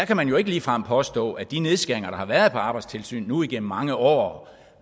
kan man jo ikke ligefrem påstå at de nedskæringer der har været på arbejdstilsynet nu igennem mange år